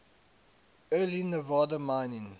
early nevada mining